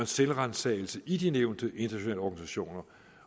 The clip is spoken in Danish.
selvransagelse i de nævnte internationale organisationer